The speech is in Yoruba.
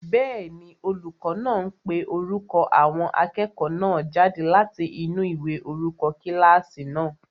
Bẹ́ẹ̀ni, olùkọ́ náà ń pe orúkọ àwọn akẹ́kọ̀ọ́ náà jáde láti inú ìwé orúkọ kílásì náà